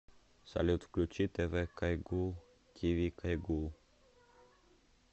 салют включи тэ вэ кайгуул ти ви кайгуул